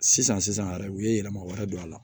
Sisan sisan yɛrɛ u ye yɛlɛma wɛrɛ don a la